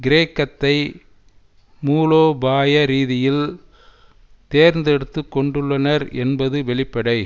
கிரேக்கத்தை மூலோபாய ரீதியில் தேர்ந்தெடுத்துக்கொண்டுள்ளனர் என்பது வெளிப்படை